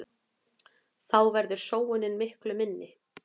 Þá verður sóunin miklu minni.